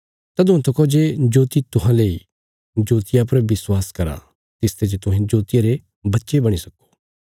तदुआं तका जे जोति तुहांले इ जोतिया पर विश्वास करा तिसते जे तुहें जोतिया रे बच्चे बणी सक्‍को ये गल्लां बोलीने यीशु चलिग्या कने तिन्हांते दूर रैहणे लगया